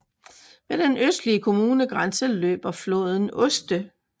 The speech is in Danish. Ved den østlige kommunegrænse løber floden Oste